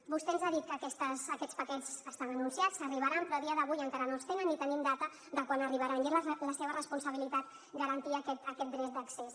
vostè ens ha dit que aquests paquets estan anunciats arribaran però a dia d’avui encara no els tenen ni tenim data de quan arribaran i és la seva responsabilitat garantir aquest dret d’accés